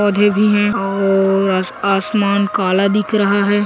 पौधे भी है और आसमान काला दिख रहा हैं।